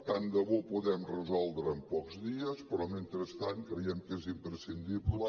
tant de bo ho puguem resoldre en pocs dies però mentrestant creiem que és imprescindible